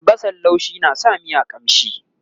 albasan laushi na sa miya ƙamshi